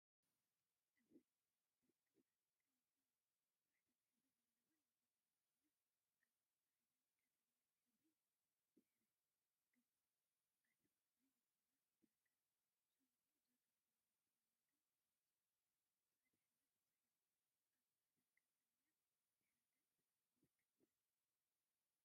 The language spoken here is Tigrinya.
እውይ ደስ ክብላ ቀያሕን ፃዕዳን ሕብሪ ዘለወን ናይ ገዛ መኪና አብ ፃዕዳን ዕንቋይን ሕብሪ ድሕረ ገፅ አለወን፡፡ ናይ መኪና ዕዳጋ ሰሙኑ ዘገልገሉ መኪና ዋጋ ዝብል ፅሑፈ ብፃዕዳ ሕብሪ ተፃሒፉ አብ ፃዕዳን ዕንቋይን ድሕረ ገፅ ይርከብ፡፡